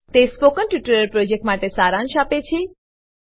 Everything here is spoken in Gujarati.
તે સ્પોકન ટ્યુટોરીયલ પ્રોજેક્ટનો સારાંશ આપે છે